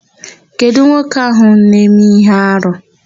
Kedụ nwoke áhụ̀ na-eme íhé arụ?